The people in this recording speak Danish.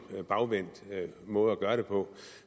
bagvendt måde at gøre det på